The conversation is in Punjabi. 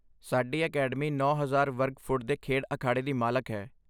ਸਾਡੀ ਅਕੈਡਮੀ ਨੌ ਹਜ਼ਾਰ ਵਰਗ ਫੁੱਟ ਦੇ ਖੇਡ ਅਖਾੜੇ ਦੀ ਮਾਲਕ ਹੈ